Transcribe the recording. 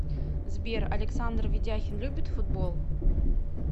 сбер александр ведяхин любит футбол